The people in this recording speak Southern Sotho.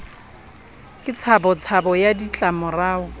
ke tshabo tshabo ya ditlamorao